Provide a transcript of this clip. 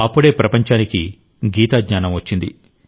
అప్పుడే ప్రపంచానికి గీతా జ్ఞానం వచ్చింది